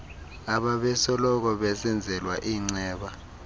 abebesoloko besenzelwa iinceba